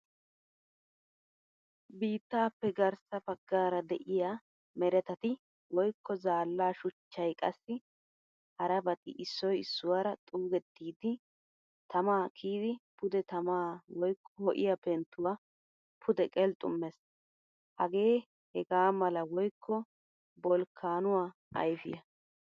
Biittappe garssa baggaara de'iya meretati woykko zaalla shuchchay qassi harabati issoy issuwaara xuugettidi tama kiyidi pude tamaa woykko ho'iyaa penttuwaa pude qelxxummees. Hagee hegamala woykko bolkkanuwaa ayfiyaa.